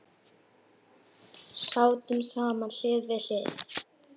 Sátum saman hlið við hlið.